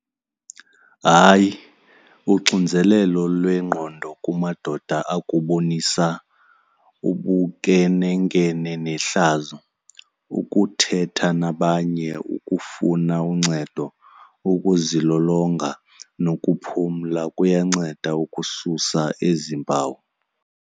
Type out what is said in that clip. Hayi, uxinzelelo lwengqondo kumadoda akubonisa ubunkenenkene nehlazo. Ukuthetha nabanye, ukufuna uncedo, ukuzilolonga nokuphumla kuyanceda ukususa ezi mpawu.